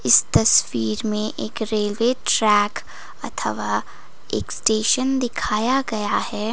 इस तस्वीर में एक रेलवे ट्रैक अथवा एक स्टेशन दिखाया गया है।